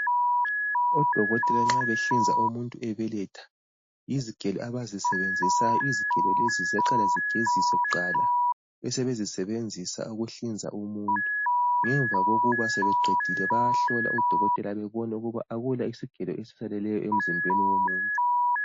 Odokotela nxa behlinza umuntu ebeletha yizigelo abazisebenzisayo izigelo lezi ziyaqala zigezise kuqala bebe sebezisebenzisa ukuhlinza umuntu ngemva kokuthi sebeqedile bayahlola ukuthi phela bebone ukuthi akula isigelo esiseleyo emzimbeni womuntu